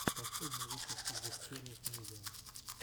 последний выпуск гутсериев мидиа